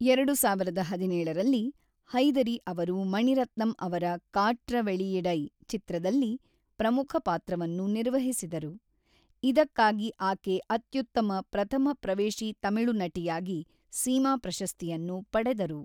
ಎರಡು ಸಾವಿರದ ಹದಿನೇಳರಲ್ಲಿ, ಹೈದರಿ ಅವರು ಮಣಿರತ್ನಂ ಅವರ ಕಾಟ್ರ ವೆಳಿಯಿಡೈ ಚಿತ್ರದಲ್ಲಿ ಪ್ರಮುಖ ಪಾತ್ರವನ್ನು ನಿರ್ವಹಿಸಿದರು, ಇದಕ್ಕಾಗಿ ಆಕೆ ಅತ್ಯುತ್ತಮ ಪ್ರಥಮ ಪ್ರವೇಶಿ ತಮಿಳು ನಟಿಯಾಗಿ ಸೀಮಾ ಪ್ರಶಸ್ತಿಯನ್ನು ಪಡೆದರು.